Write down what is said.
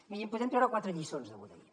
miri en podem treure quatre lliçons de lo d’ahir